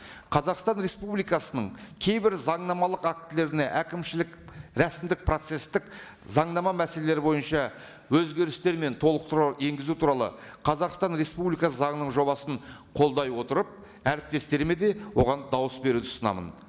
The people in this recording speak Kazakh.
қазақстан республикасының кейбір заңнамалық актілеріне әкімшілік рәсімдік процесстік заңнама мәселелері бойынша өзгерістер мен толықтырулар енгізу туралы қазақстан республикасы заңының жобасын қолдай отырып әріптестеріме де оған дауыс беруді ұсынамын